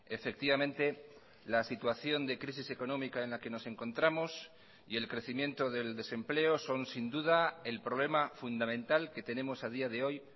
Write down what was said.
efectivamente la situación de crisis económica en la que nos encontramos y el crecimiento del desempleo son sin duda el problema fundamental que tenemos a día de hoy